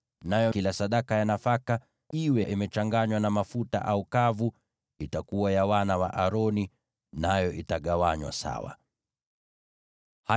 Nayo kila sadaka ya nafaka, iwe imechanganywa na mafuta au iko kavu, itakuwa ya wana wa Aroni, nayo itagawanywa sawa kati yao.